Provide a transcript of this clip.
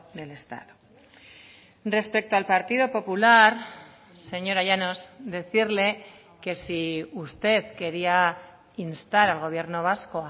del estado respecto al partido popular señora llanos decirle que si usted quería instar al gobierno vasco